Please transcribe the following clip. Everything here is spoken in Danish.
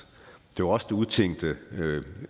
det var os der udtænke